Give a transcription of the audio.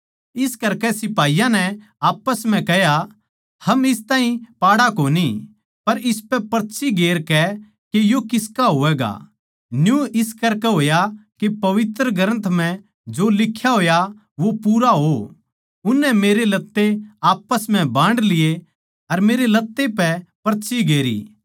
इस करकै सिपाहियाँ नै आप्पस म्ह कह्या हम इस ताहीं पाड़ा कोनी पर इसपै पर्ची गेर कै के यो किसका होवैगा न्यू इस करकै होया के पवित्र ग्रन्थ म्ह जो लिख्या होया वो पूरा हो उननै मेरे लत्ते आप्पस म्ह बांड लिए अर मेरे लत्ते पै पर्ची गेरी